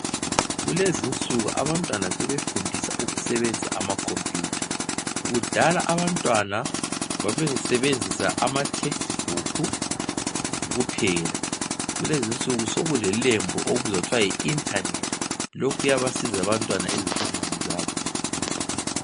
Kulezinsuku abantwana sebefundisa ukusebenzisa ama computer, kudala abantwana babesebenzisa ama textbook kuphela. Kulezinsuku sokulelembu okuthiwa yi internet, lokhu kuyabasiza abantwana ezifundweni zabo